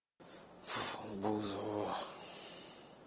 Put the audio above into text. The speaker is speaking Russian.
бузова